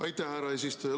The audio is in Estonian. Aitäh, härra eesistuja!